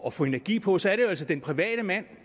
at få energi på så er det jo altså den private mand